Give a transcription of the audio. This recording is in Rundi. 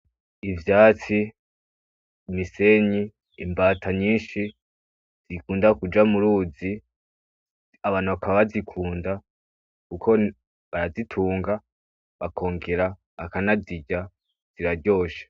Ivyatsi imisenyi, imbata nyinshi zikunda kuja m'uruzi abantu bakaba bazikunda kuko barazitunga, bakongera bakanazirya ziraryoshe.